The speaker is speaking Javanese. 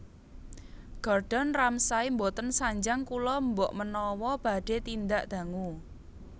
Gordon Ramsay mboten sanjang kula mbok menawa badhe tindak dangu